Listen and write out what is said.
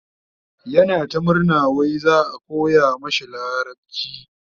yana ta murna wai za'a koya mashi larabci